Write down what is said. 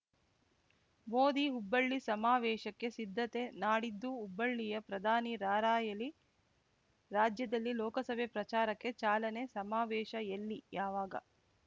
ಮೋದಿ ಹುಬ್ಬಳ್ಳಿ ಸಮಾವೇಶಕ್ಕೆ ಸಿದ್ಧತೆ ನಾಡಿದ್ದು ಹುಬ್ಬಳ್ಳಿಯ ಪ್ರಧಾನಿ ರಾರ‍ಯಲಿ ರಾಜ್ಯದಲ್ಲಿ ಲೋಕಸಭೆ ಪ್ರಚಾರಕ್ಕೆ ಚಾಲನೆ ಸಮಾವೇಶ ಎಲ್ಲಿ ಯಾವಾಗ